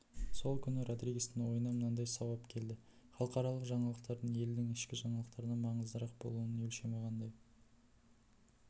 сол күні родригестің ойына мынадай сауал келді халықаралық жаңалықтардың елдің ішкі жаңалықтарынан маңыздырақ болуының өлшемі қандай